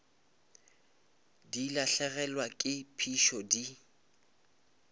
di lahlegelwa ke phišo di